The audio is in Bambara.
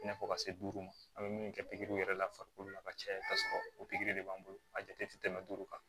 I n'a fɔ ka se duuru ma an bɛ min kɛ pikiriw yɛrɛ la farikolo la ka caya kasɔrɔ o pikiri de b'an bolo a jate tɛ tɛmɛ duuru kan